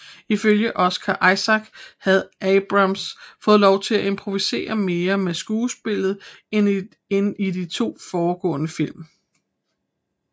Ifølge Oscar Isaac havde Abrams fået lov til at improvisere mere med skuespillet end i de to foregående film